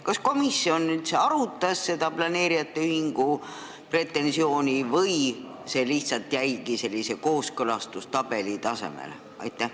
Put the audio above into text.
Kas komisjon üldse arutas seda planeerijate ühingu pretensiooni või see jäigi lihtsalt kooskõlastustabeli tasemele?